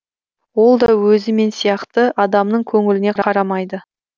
ол да өзі мен сияқты адамның көңіліне қарамайды